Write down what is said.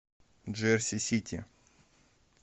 джерси сити